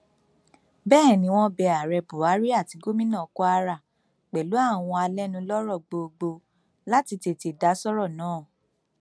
bẹẹ ni wọn bẹ ààrẹ buhari àti gomina kwara pẹlú àwọn alẹnulọrọ gbogbo láti tètè dá sọrọ náà